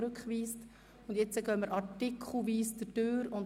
Wir beginnen jetzt mit der artikelweisen Beratung.